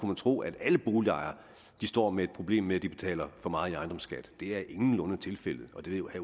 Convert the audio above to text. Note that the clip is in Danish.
man tro at alle boligejere står med et problem med at de betaler for meget i ejendomsskat det er ingenlunde tilfældet og det